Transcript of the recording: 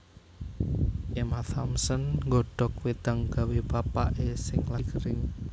Emma Thompson nggodhok wedang gawe bapak e sing lagi gering